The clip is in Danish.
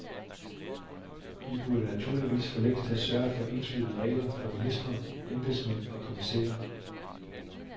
Vi burde naturligvis for længst have sørget for enslydende regler for ministre, embedsmænd og kommissærer.